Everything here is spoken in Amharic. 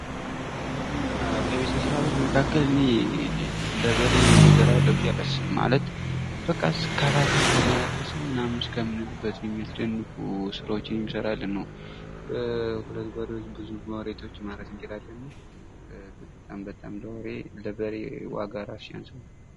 ከቤት እንስሳቶች መካከል እኔ ለበሬ ወደር አለው ብዬ አላስብም ፤ ማለት በቃ እስከባተር ነው ያረሰው ምናምን እስከምንል ድረስ የሚያስደንቁ ስራዎችን የሚሰራልን ነው። በሁለት በሪዎች ብዙ መሬት ማረስ እንችላለን እና በጣም በጣም ይሄ ለበሬ ዋጋ ሲያንስ ነው።